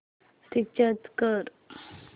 recharge कर